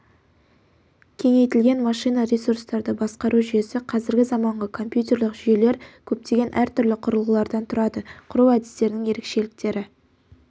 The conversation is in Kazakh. кеңейтілген машина ресурстарды басқару жүйесі қазіргі заманғы компьютерлік жүйелер көптеген әртүрлі құрылғылардан тұрады құру әдістерінің ерекшеліктері